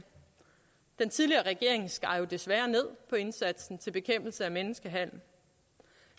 den tidligere regering skar jo desværre ned på indsatsen til bekæmpelse af menneskehandel